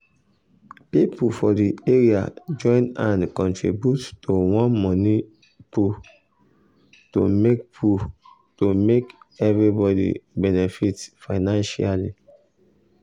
people for the area join hand contribute to one money pool to make pool to make everybody benefit financially.